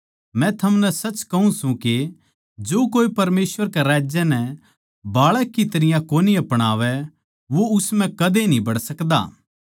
मै थमनै सच कहूँ सूं के जो कोए परमेसवर कै राज्य नै बाळक की तरियां कोनी अपणावै वो उस म्ह कदे न्ही बड़ सकदा